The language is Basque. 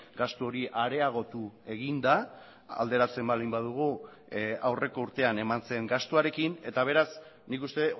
gastu hori areagotu egin da alderatzen baldin badugu aurreko urtean eman zen gastuarekin eta beraz nik uste